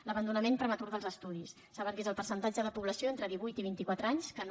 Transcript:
l’abandonament prematur dels estudis saben que és el percentatge de població entre divuit i vint i quatre anys que no